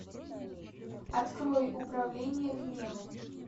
открой управление гневом